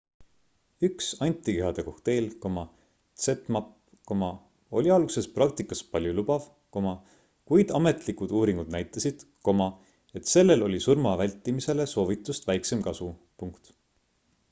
üks antikehade kokteil zmapp oli alguses praktikas paljulubav kuid ametlikud uuringud näitasid et sellel oli surma vältimisele soovitust väiksem kasu